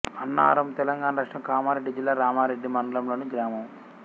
అన్నారం తెలంగాణ రాష్ట్రం కామారెడ్డి జిల్లా రామారెడ్డి మండలంలోని గ్రామం